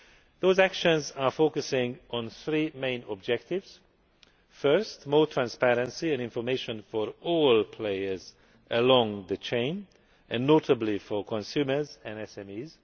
Those actions are focusing on three main objectives first, more transparency and information for all players along the chain, and notably for consumers and